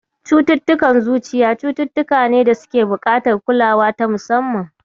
Cututtukan zuciya cututtuka ne da suke buƙatar kulawa ta musamman.